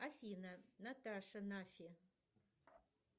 афина наташа нафи